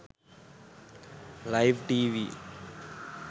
live tv